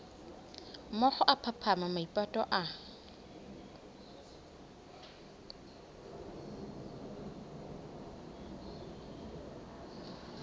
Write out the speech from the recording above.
mookgo a phaphama maipato a